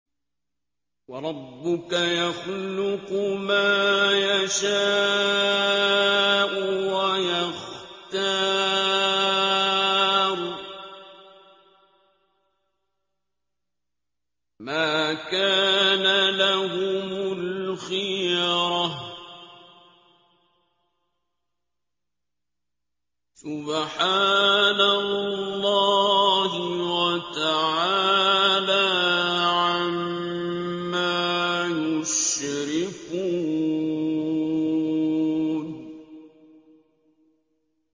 وَرَبُّكَ يَخْلُقُ مَا يَشَاءُ وَيَخْتَارُ ۗ مَا كَانَ لَهُمُ الْخِيَرَةُ ۚ سُبْحَانَ اللَّهِ وَتَعَالَىٰ عَمَّا يُشْرِكُونَ